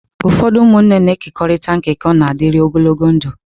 Ụfọdụ ụmụnne na-ekekọrịta nkekọ na-adịru ogologo ndụ.